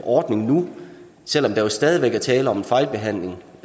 ordning nu selv om der jo stadig væk er tale om en fejlbehandling